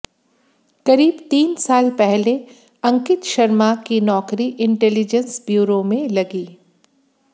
करीब तीन साल पहले अंकित शर्मा की नौकरी इंटेलिजेंस ब्यूरो में लगी